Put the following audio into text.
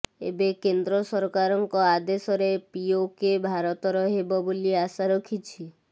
ଏବେ କେନ୍ଦ୍ର ସରକାରଙ୍କ ଆଦେଶରେ ପିଓକେ ଭାରତର ହେବ ବୋଲି ଆଶା ରଖିଛି